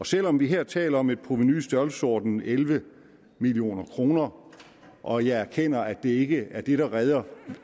selv om vi her taler om et provenu i størrelsesordenen elleve million kroner og jeg erkender at det ikke er det der redder